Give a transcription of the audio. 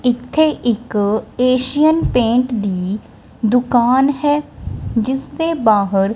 ਇੱਥੇ ਇੱਕ Asian paint ਦੀ ਦੁਕਾਨ ਹੈ ਜਿੱਸ ਦੇ ਬਾਹਰ--